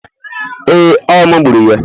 Ee, ọ mu gburu ya